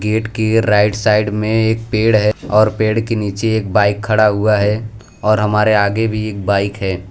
Gate के right side में एक पेड़ है और पेड़ के नीचे एक बाइक खड़ा हुआ है और हमारे आगे भी एक बाइक है।